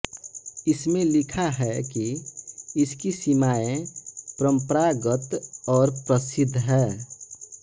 इसमें लिखा है कि इसकी सीमाएं परम्परागत और प्रसिद्ध हैं